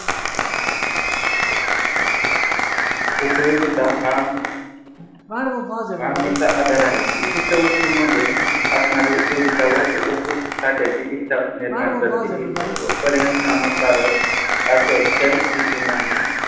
उपयोगिता हा मानवी चा आधार आहे विशिष्ट वस्तूंमध्ये असणारे उपयोगिता वास्तुसाठ्याचे इच्छा निर्माण करते. इच्छा पर्याय नमःकारक असेल तर तिची मागणी